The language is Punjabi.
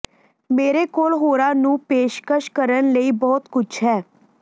ਮੇਰੇ ਕੋਲ ਹੋਰਾਂ ਨੂੰ ਪੇਸ਼ਕਸ਼ ਕਰਨ ਲਈ ਬਹੁਤ ਕੁਝ ਹੈ